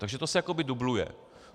Takže to se jakoby dubluje.